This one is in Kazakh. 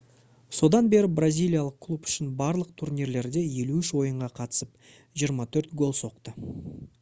содан бері бразилиялық клуб үшін барлық турнирлерде 53 ойынға қатысып 24 гол соқты